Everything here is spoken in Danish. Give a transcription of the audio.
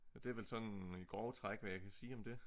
Og det er vel sådan i grove træk hvad jeg kan sige om det